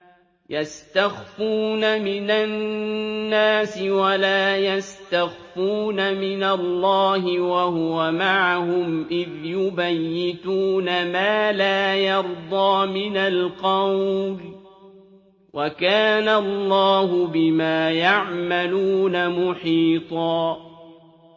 يَسْتَخْفُونَ مِنَ النَّاسِ وَلَا يَسْتَخْفُونَ مِنَ اللَّهِ وَهُوَ مَعَهُمْ إِذْ يُبَيِّتُونَ مَا لَا يَرْضَىٰ مِنَ الْقَوْلِ ۚ وَكَانَ اللَّهُ بِمَا يَعْمَلُونَ مُحِيطًا